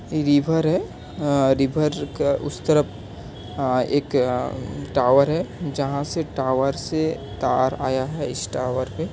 इ रिवर है। अ- रिवर के उस तरफ आ एक अ- टावर है जहा से टावर से तार आया है इस टावर पे।